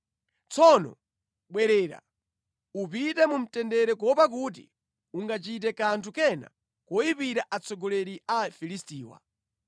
Tsono bwerera. Upite mu mtendere kuopa kuti ungachite kanthu kena koyipira atsogoleri a Afilistiwa.”